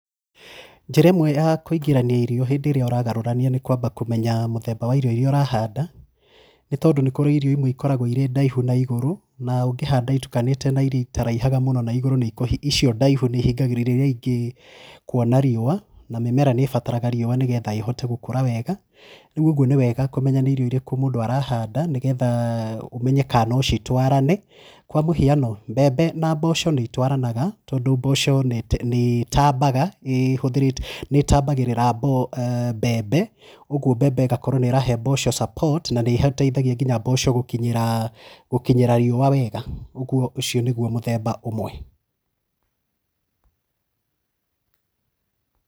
Njĩra ĩmwe ya kũingĩrania irio hĩndĩ ĩrĩa ũragarũrania nĩ kwamba mũthemba wa irio iria ũrahanda nĩ tondũ nĩ kũrĩ irio imwe ikoragwo irĩ ndaihu na igũrũ na ũngĩhanda itukanĩte na iria itaraihaga mũno na igũrũ, icio ndaihu nĩihingagĩrĩria iria ingĩ kuona riũa na mĩmera nĩ ĩbataraga riũa nĩ getha ĩhote gũkũra weega. Rĩu ũguo nĩ weega kũmenya nĩ irio irĩkũ mũndũ arahanda nĩ getha ũmenye kana no citwarane. Kwa mũhiano. Mbembe na mboco nĩ itwaranaga mboco nĩitambagĩrĩra mbembe, ũguo mbembe ĩgakorwo nĩ irahe mboco support na nĩ iteithagia kinya mboco gũkinyĩra riũa weega. ũguo ũcio nĩguo mũthemba ũmwe.